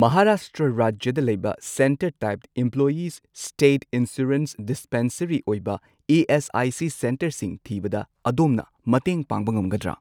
ꯃꯍꯥꯔꯥꯁꯇ꯭ꯔ ꯔꯥꯖ꯭ꯌꯗ ꯂꯩꯕ centre type employees state insurance dispensary ꯑꯣꯏꯕ ꯏ.ꯑꯦꯁ.ꯑꯥꯏ.ꯁꯤ. ꯁꯦꯟꯇꯔꯁꯤꯡ ꯊꯤꯕꯗ ꯑꯗꯣꯝꯅ ꯃꯇꯦꯡ ꯄꯥꯡꯕ ꯉꯝꯒꯗ꯭ꯔꯥ?